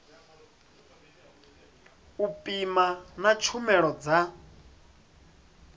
u pima na tshumelo dza